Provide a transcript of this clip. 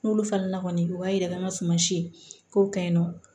N'olu falen na kɔni u b'a yira n na suman si kow ka ɲi nɔ